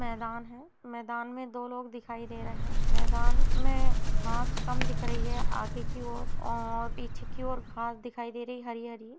मैदान हैं मैदान में दो लोग दिखाई दे रहें हैं मैदान में घास कम दिख रही हैं आगे की ओर और पीछे की ओर घास दिखाई दे रही है हरी-हरी।